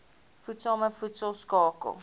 voedsame voedsel skakel